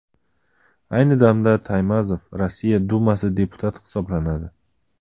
Ayni damda Taymazov Rossiya Dumasi deputati hisoblanadi.